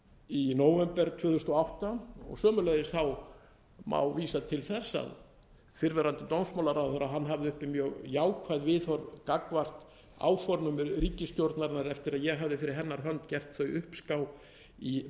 í nóvember tvö þúsund og átta og sömuleiðis má vísa til þess að fyrrverandi dómsmálaráðherra hafði uppi mjög jákvæð viðhorf gagnvart áformum ríkisstjórnarinnar eftir að ég hafði fyrir hennar hönd gert þau uppská í